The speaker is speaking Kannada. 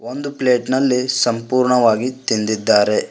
ಒಂದು ಪ್ಲೇಟ್ ನಲ್ಲಿ ಸಂಪುರ್ಣವಾಗಿ ತಿಂದಿದ್ದಾರೆ.